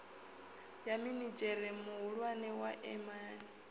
ya minidzhere muhulwane wa emia